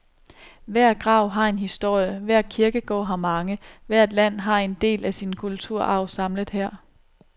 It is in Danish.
Hver grav har en historie, hver kirkegård har mange, hvert land har en del af sin kulturarv samlet her.